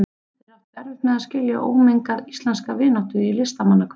Þeir áttu erfitt með að skilja ómengaða íslenska vináttu í listamannahverfinu.